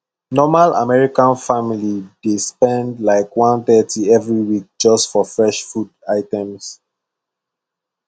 normal american family dey spend like 130 every week just for fresh food items